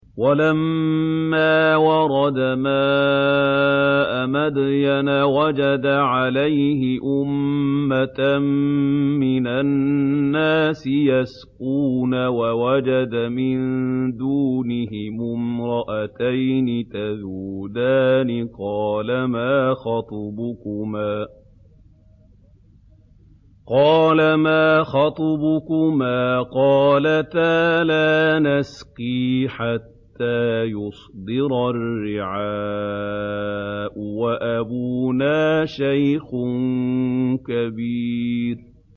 وَلَمَّا وَرَدَ مَاءَ مَدْيَنَ وَجَدَ عَلَيْهِ أُمَّةً مِّنَ النَّاسِ يَسْقُونَ وَوَجَدَ مِن دُونِهِمُ امْرَأَتَيْنِ تَذُودَانِ ۖ قَالَ مَا خَطْبُكُمَا ۖ قَالَتَا لَا نَسْقِي حَتَّىٰ يُصْدِرَ الرِّعَاءُ ۖ وَأَبُونَا شَيْخٌ كَبِيرٌ